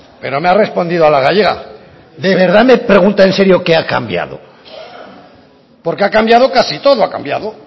pero me ha respondido a la gallega de verdad me pregunta en serio que ha cambiado porque ha cambiado casi todo ha cambiado